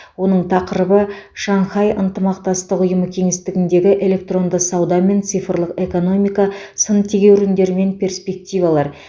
оның тақырыбы шанхай ынтымақтастығы ұйымы кеңістігіндегі электронды сауда мен цифрлық экономика сын тегеуріндер мен перспективалар